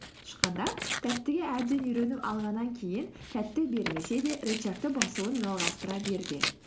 тышқандар тәттіге әбден үйреніп алғаннан кейін тәтті бермесе де рычагты басуын жалғастыра берген